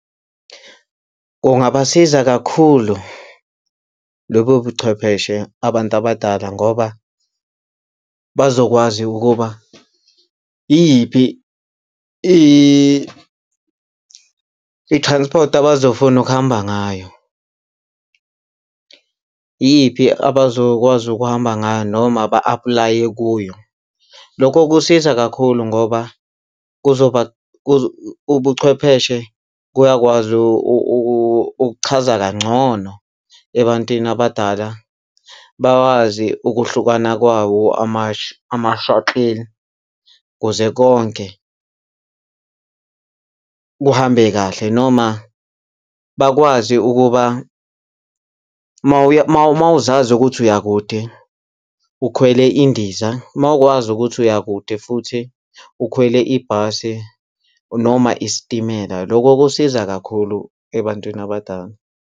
Kungabasiza kakhulu lobobuchwepheshe abantu abadala ngoba bazokwazi ukuba iyiphi i-transport abazofuna ukuhamba ngayo, iyiphi abazokwazi ukuhamba ngayo noma ba-apply-e kuyo. Lokho kusiza kakhulu ngoba kuzoba ubuchwepheshe kuyakwazi ukuchaza kangcono ebantwini abadala bawazi ukuhlukana kwawo ama-shuttle kuze konke kuhambe kahle noma bakwazi ukuba uma uzazi ukuthi uyakude ukhwele indiza, mawukwazi ukuthi uyakude futhi ukhwele ibhasi noma isitimela. Lokho kusiza kakhulu ebantwini abadala.